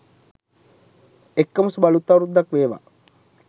එක්කම සුබ අලුත් අවුරුද්දක් වේවා